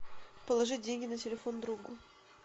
положить деньги на телефон другу